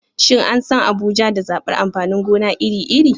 Shin an san Abuja da zabar amfanin gona iri-iri?